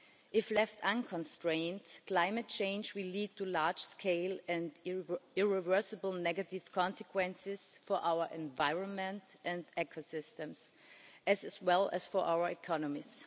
If left unconstrained, climate change will lead to large scale and irreversible negative consequences for our environment and ecosystems, and for our economies.